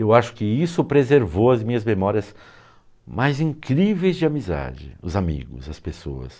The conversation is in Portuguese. Eu acho que isso preservou as minhas memórias mais incríveis de amizade, os amigos, as pessoas.